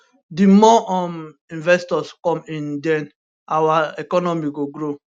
di more um investors come in den our economy go grow